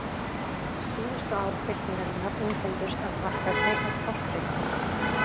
Síðustu ár byltingarinnar einkenndust af varfærni og tortryggni.